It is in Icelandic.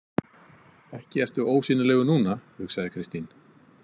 Ekki ertu ósýnilegur núna, hugsaði Kristín.